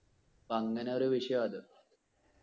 അപ്പോ അങ്ങനൊരു വിഷയവാ അത്.